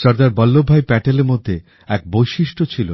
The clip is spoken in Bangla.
সর্দার বল্লভভাই প্যাটেলের মধ্যে এক বৈশিষ্ট ছিল